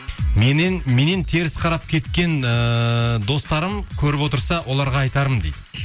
меннен теріс қарап кеткен ііі достарым көріп отырса оларға айтарым дейді